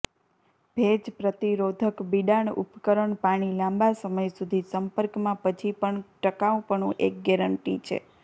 ભેજ પ્રતિરોધક બિડાણ ઉપકરણ પાણી લાંબા સમય સુધી સંપર્કમાં પછી પણ ટકાઉપણું એક ગેરંટી છે